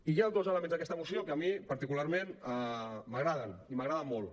i hi ha dos elements d’aquesta moció que a mi particularment m’agraden i m’agraden molt